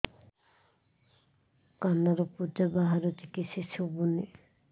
କାନରୁ ପୂଜ ବାହାରୁଛି କିଛି ଶୁଭୁନି